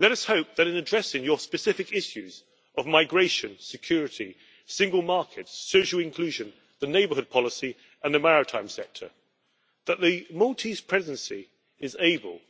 Let us hope that in addressing your specific issues of migration, security, the single market, social inclusion, the neighbourhood policy and the maritime sector, that the Maltese Presidency is able